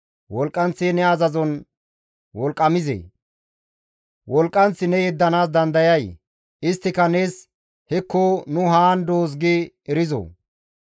Wolqqanth ne azazon wolqqamizee? Wolqqanth ne yeddanaas dandayay? Isttika nees, ‹Hekko nu haan doos› gi erizoo?